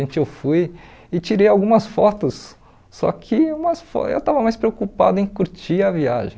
Eu fui e tirei algumas fotos, só que umas fo eu estava mais preocupado em curtir a viagem.